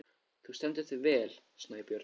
Þú stendur þig vel, Snæbjörn!